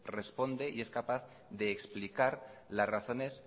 responde y es capaz de explicar las razones